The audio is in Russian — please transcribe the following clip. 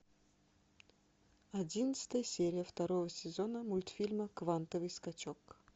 одиннадцатая серия второго сезона мультфильма квантовый скачок